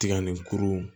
Tiga ni kuru